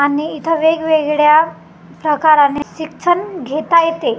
आणि इथे वेगवेगळ्या प्रकाराने शिक्षण घेता येते खु--